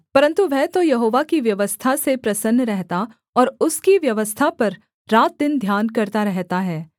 परन्तु वह तो यहोवा की व्यवस्था से प्रसन्न रहता और उसकी व्यवस्था पर रातदिन ध्यान करता रहता है